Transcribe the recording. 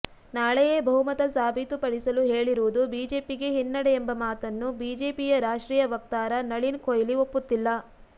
ನಾಳೆಯೇ ಬಹುಮತ ಸಾಬೀತುಪಡಿಸಲು ಹೇಳಿರುವುದು ಬಿಜೆಪಿಗೆ ಹಿನ್ನಡೆ ಎಂಬ ಮಾತನ್ನು ಬಿಜೆಪಿಯ ರಾಷ್ಟ್ರೀಯ ವಕ್ತಾರ ನಳಿನ್ ಕೊಹ್ಲಿ ಒಪ್ಪುತ್ತಿಲ್ಲ